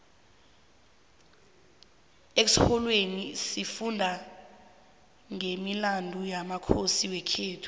exholweni sifunda nqemilandu yamakhosi wekhethu